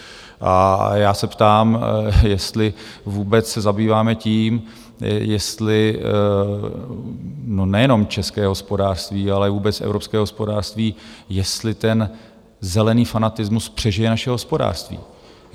A já se ptám, jestli vůbec se zabýváme tím, jestli nejenom české hospodářství, ale vůbec evropské hospodářství - jestli ten zelený fanatismus přežije naše hospodářství.